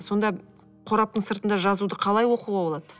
сонда қораптың сыртында жазуды қалай оқуға болады